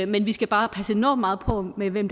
men vi skal bare passe enormt meget på med hvem